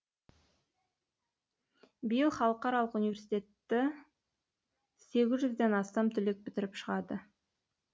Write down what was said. биыл халықаралық университетті сегіз жүзден астам түлек бітіріп шығады